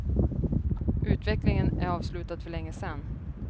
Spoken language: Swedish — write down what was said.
Utvecklingen är avslutad för länge sedan.